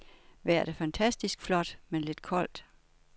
Vejret er fantastisk flot, men lidt koldt.